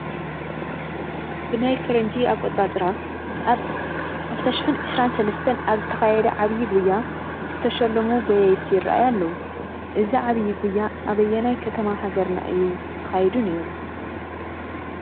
ብናይ ፈረንጂ ኣቆፃፅራ ኣብ 2023 ኣብ ዝተኻየደ ዓብዪ ጉያ ዝተሸለሙ ጐየይቲ ይርአዩ ኣለዉ፡፡ እዚ ዓብዪ ጉያ ኣበየናይ ከተማ ሃገርና እዩ ተኻይዱ ነይሩ?